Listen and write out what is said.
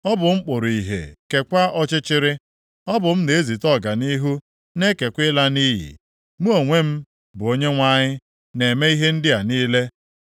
Ọ bụ m kpụrụ ìhè, keekwa ọchịchịrị. Ọ bụ m na-ezite ọganihu, na-ekekwa ịla nʼiyi. Mụ onwe m, bụ Onyenwe anyị, na-eme ihe ndị a niile.